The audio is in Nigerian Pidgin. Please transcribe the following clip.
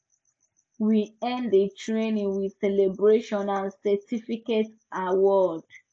we end the training with celebration and certificate award